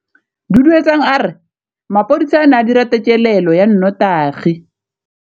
Duduetsang a re mapodisa a ne a dira têkêlêlô ya nnotagi.